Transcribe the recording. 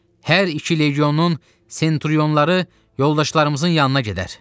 Hər iki legionun senturyonları yoldaşlarımızın yanına gedər.